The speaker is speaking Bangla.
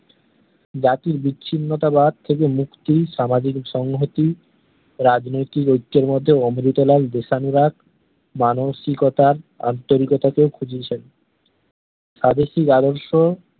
জাতির বিচ্ছিন্নতাবাদ থেকে মুক্তি সামাজিক সংহতি ও রাজনৈতিক ঐকর মধ্যে অমৃতলাল দেশানুরাগ মানসিকতার আন্তরিকতাকে খুঁজিয়েছেন স্বদেশি রাঢ়ষ্য